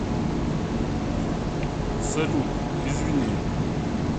салют извини